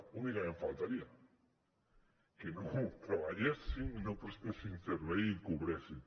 únicament faltaria que no treballessin no prestessin servei i cobressin